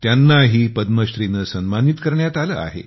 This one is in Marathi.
त्यांनाही पद्मश्रीने सन्मानित करण्यात आले आहे